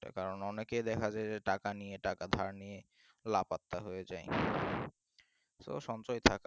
কারণ অনেকে দেখা যায় যে টাকা নিয়ে টাকা ধার নিয়ে লা পাত্তা হয়ে যায়। so সঞ্চয় থাকাটা